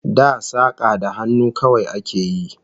Da saka da hannu kawai a ke yi